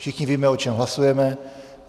Všichni víme, o čem hlasujeme.